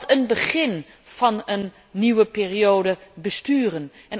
Wat een begin van een nieuwe periode besturen!